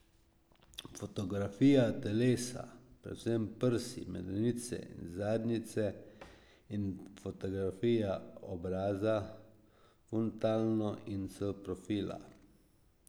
Fotografija telesa, predvsem prsi, medenice in zadnjice, in fotografija obraza, frontalno in s profila.